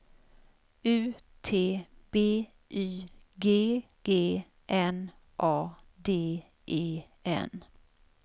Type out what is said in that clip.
U T B Y G G N A D E N